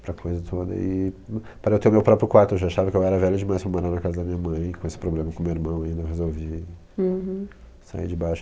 Aquela coisa toda. Para eu ter o meu próprio quarto, eu já achava que eu era velho demais para morar na casa da minha mãe, com esse problema com o meu irmão ainda, eu resolvi sair de baixo.